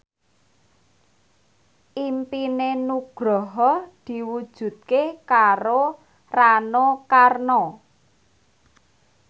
impine Nugroho diwujudke karo Rano Karno